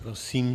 Prosím.